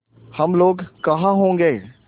हम लोग कहाँ होंगे